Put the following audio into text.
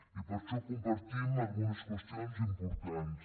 i per això compartim algunes qüestions importants